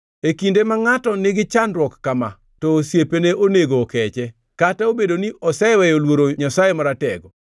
“E kinde ma ngʼato nigi chandruok kama, to osiepne onego okeche, kata obedo ni oseweyo luoro Jehova Nyasaye Maratego.